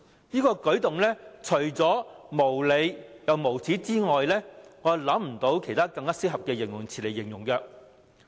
這個舉動除了無理、無耻之外，沒有其他更合適的形容詞。